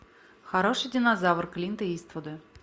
хороший динозавр клинта иствуда